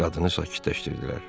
Qadını sakitləşdirdilər.